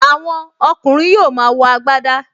Àwọn ọkùnrin yóò máa wọ agbadá